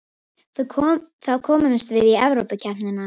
Þá komumst við í Evrópukeppnina